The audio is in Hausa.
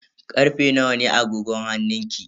Karfe nawa ne a agogon hannunki?